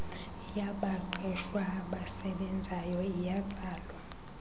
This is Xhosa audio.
yabaqeshwa abasebenzayo iyatsalwa